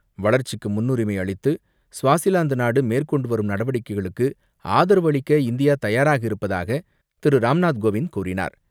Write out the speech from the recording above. வளர்ச்சிக்கு முன்னுரிமை அளித்து ஸ்வாசிலாந்து நாடு மேற்கொண்டு வரும் நடவடிக்கைகளுக்கு ஆதரவு அளிக்க இந்தியா தயாராக இருப்பதாக திரு ராம்நாத் கோவிந்த் கூறினார்.